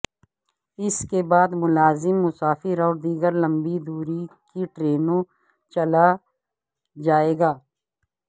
اس کے بعد ملازم مسافر اور دیگر لمبی دوری کی ٹرینوں چلا جائے گا